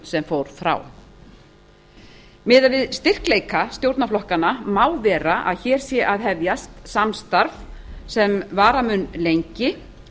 sem fór frá miðað við styrkleika stjórnarflokkanna má vera að hér sé að hefjast samstarf sem vara mun lengi